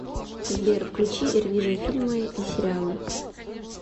сбер включи эрвижин фильмы и сериалы